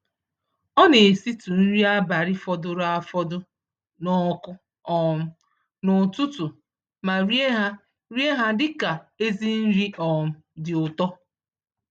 Ọna esitụ nri abalị fọdụrụ afọdụ nọkụ um n'ụtụtụ, ma rie ha rie ha dịka ezi nri um dị ụtọ